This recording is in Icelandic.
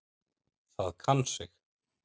Það kann sig.